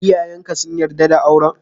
Iyayen ka sun yarda da auren?